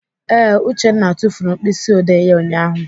Ee, Uchenna tufuru mkpịsịodee ya ụnyaahụ.